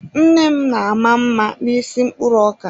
Nne m na-ama mma n'isi mkpụrụ ọka.